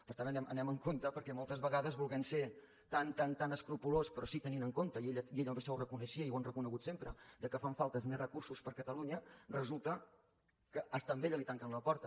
per tant anem amb compte perquè moltes vegades volent ser tan tan tan escrupolós però sí que tenint en compte i ella això ho reconeixia i ho han reconegut sempre que fan falta més recursos per a catalunya resulta que fins i tot a ella li tanquen la porta